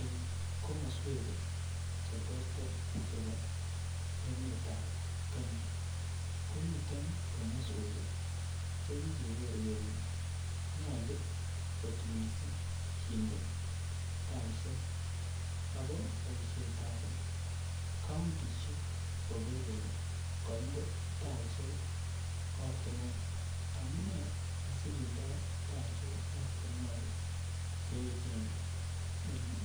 En komoswek cheterter chebo emetab kenya komiten komoswek chekikeker kele nyolu kot missing kindee taisiek ako boisietab countisiek koker kole koindee taisiek ortinwek amune asikindoo taisiek ortinwek che echen